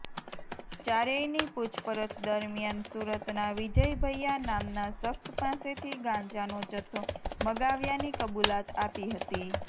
ચારેયની પૂછપરછ દરમિયાન સુરતના વિજય ભૈયા નામના શખ્સ પાસેથી ગાંજાનો જથ્થો મગાવ્યાની કબૂલાત આપી હતી